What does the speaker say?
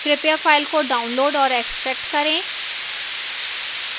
कृपया file को download और extract करें